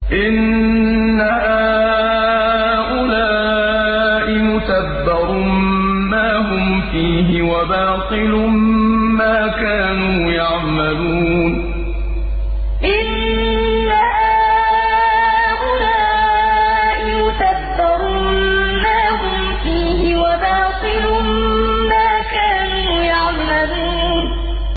إِنَّ هَٰؤُلَاءِ مُتَبَّرٌ مَّا هُمْ فِيهِ وَبَاطِلٌ مَّا كَانُوا يَعْمَلُونَ إِنَّ هَٰؤُلَاءِ مُتَبَّرٌ مَّا هُمْ فِيهِ وَبَاطِلٌ مَّا كَانُوا يَعْمَلُونَ